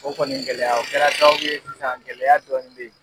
O kɔni gɛlɛya o kɛra sababu ye sisan gɛlɛya dɔɔni bɛ ye.